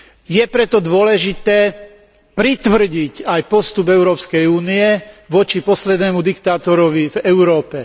Je preto dôležité pritvrdiť aj postup Európskej únie voči poslednému diktátorovi v Európe.